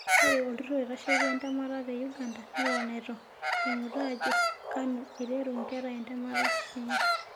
Ore olturur oitasheki ntemat te Uganda neton eitu emut ajo kano eiteru nkera ntemat enye.